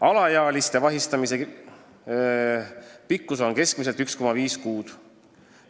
Alaealiste vahi all olemise pikkus on keskmiselt 1,5 kuud.